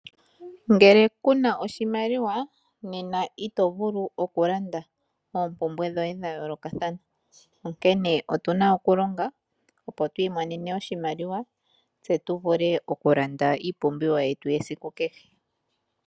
Ngele ku na oshimaliwa, nena ito vulu okulanda oompumbwe dhoye dhayoolokathana. Onkene otu na okulonga twiimonene oshimaliwa tse tu vule okulanda iipumbiwa yetu yasiku kehe.